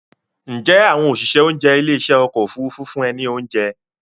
Ǹjẹ́ àwọn òṣìṣẹ́ oúnjẹ ilé ìṣe ọkọ̀ Òfurufú fún ẹ ní oúnjẹ?